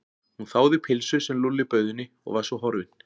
Hún þáði pylsu sem Lúlli bauð henni og var svo horfin.